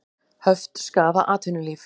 Höft skaða atvinnulíf